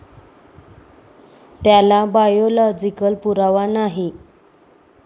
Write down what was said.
त्याला बायोलॉजिकल पुरावा नाही.